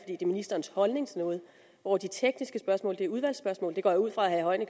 det er ministerens holdning til noget hvor de tekniske spørgsmål er udvalgsspørgsmål det går jeg ud fra at herre